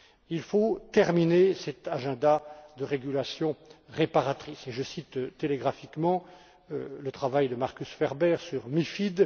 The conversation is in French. Il faut terminer cet agenda de régulation réparatrice, et je cite télégraphiquement le travail de Markus Ferber sur la MiFID.